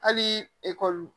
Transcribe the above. Hali ekɔli